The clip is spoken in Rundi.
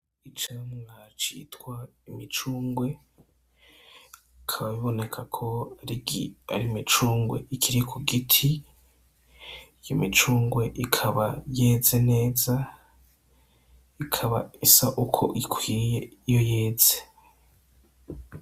Icamwa citwa umucungwe, bikaba biboneka ko ari imicungwe ikiri ku giti, iyo micungwe ikaba yeze neza, ikaba isa uko ikwiye ihetse.